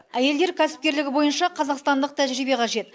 әйелдер кәсіпкерлігі бойынша қазақстандық тәжірибе қажет